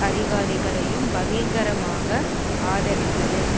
அதிகாரிகளையும் பகிங்கரமாக ஆதரித்தது